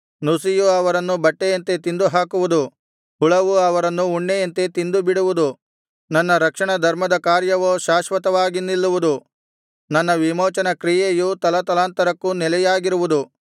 ನುಸಿಯು ಅವರನ್ನು ಬಟ್ಟೆಯಂತೆ ತಿಂದುಹಾಕುವುದು ಹುಳವು ಅವರನ್ನು ಉಣ್ಣೆಯಂತೆ ತಿಂದುಬಿಡುವುದು ನನ್ನ ರಕ್ಷಣಧರ್ಮದ ಕಾರ್ಯವೋ ಶಾಶ್ವತವಾಗಿ ನಿಲ್ಲುವುದು ನನ್ನ ವಿಮೋಚನ ಕ್ರಿಯೆಯು ತಲತಲಾಂತರಕ್ಕೂ ನೆಲೆಯಾಗಿರುವುದು